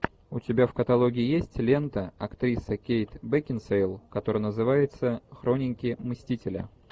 у тебя в каталоге есть лента актриса кейт бекинсейл которая называется хроники мстителя